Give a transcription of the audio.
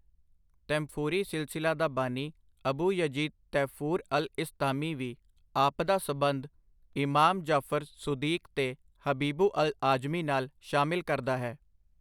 ਤੈਂਫੂਰੀ ਸਿਲਸਿਲਾ ਦਾ ਬਾਨੀ ਅਬੂ ਯਜੀਦ ਤੈਫੂਰ ਅਲ ਇਸਤਾਮੀ ਵੀ ਆਪਦਾ ਸੰਬੰਧ ਇਮਾਮ ਜਾਫਰ ਸੁਦੀਕ ਤੇ ਹਬੀਬੁ ਅਲ ਆਜਮੀ ਨਾਲ ਸ਼ਾਮਿਲ ਕਰਦਾ ਹੈ।